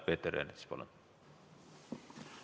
Peeter Ernits, palun!